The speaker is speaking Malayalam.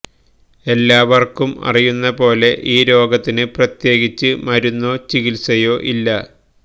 എല്ലാവർക്കും അറിയുന്ന പോലെ ഈ രോഗത്തിന് പ്രത്യേകിച്ച് മരുന്നോ ചികിത്സയോ ഇല്ല